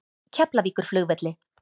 Keflavíkurflugvelli